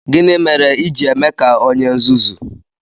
Gini mere i ji eme ka onye nzuzu?